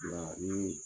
Ni